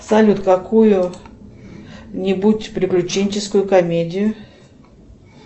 салют какую нибудь приключенческую комедию